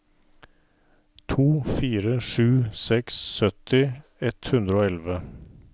to fire sju seks sytti ett hundre og elleve